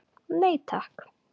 Nei takk.